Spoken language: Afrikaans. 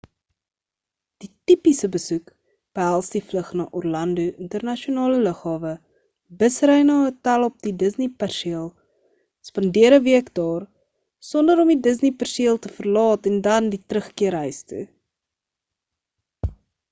die tipiese besoek behels die vlug na orlando internasionale lughawe bus-ry na 'n hotel op die disney perseel spandeer 'n week daar sonder om die disney perseel te verlaat en dan die terugkeer huis toe